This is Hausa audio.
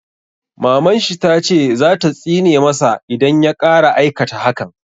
Maman shi ta ce za ta tsine ma sa idan ya ƙara aikata hakan